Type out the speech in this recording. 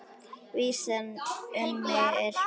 Vísan um mig er svona